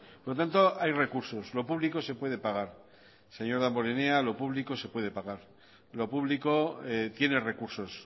por lo tanto hay recursos lo público se puede pagar señor damborenea lo público se puede pagar lo público tiene recursos